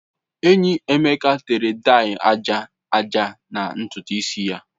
Enyi Emeka tere daị aja aja na ntutu isi ya.